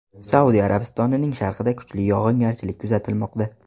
Saudiya Arabistonining sharqida kuchli yog‘ingarchilik kuzatilmoqda.